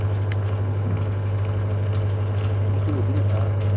এক একজন অভিনেতা